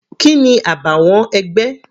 Kini àbàwọ́n ẹgbẹ́?